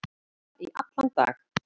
Þingflokkar funda í allan dag